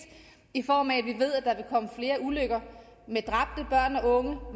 i form af flere ulykker